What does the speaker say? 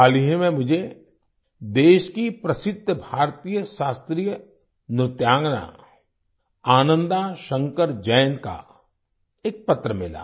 हाल ही में मुझे देश की प्रसिद्ध भारतीय शास्त्रीय नृत्यांगना आनंदा शंकर जयंत का एक पत्र मिला